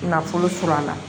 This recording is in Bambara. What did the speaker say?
Nafolo sɔrɔ a la